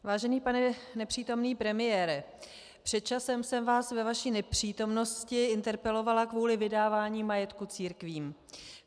Vážený pane nepřítomný premiére, před časem jsem vás ve vaší nepřítomnosti interpelovala kvůli vydávání majetku církvím.